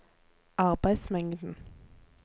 arbeidsmengden